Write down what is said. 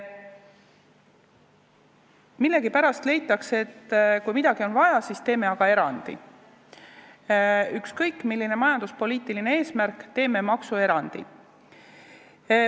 Millegipärast leitakse, et kui midagi on vaja, siis teeme aga erandi, ükskõik, milline on majanduspoliitiline eesmärk, teeme maksuerandi.